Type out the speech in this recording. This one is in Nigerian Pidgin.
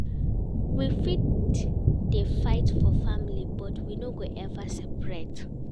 We fit dey fight for family but we no go ever separate.